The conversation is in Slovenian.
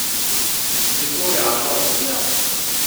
Je to realna opcija?